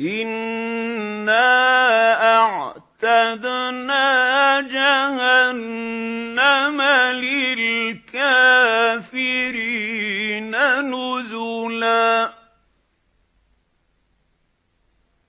إِنَّا أَعْتَدْنَا جَهَنَّمَ لِلْكَافِرِينَ نُزُلًا